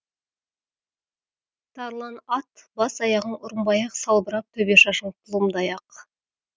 тарлан ат бас аяғың ұрынбай ақ салбырап төбе шашың тұлымдай ақ